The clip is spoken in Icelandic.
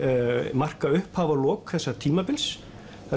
marka upphaf og lok þessa tímabils það